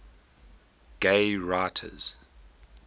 gay writers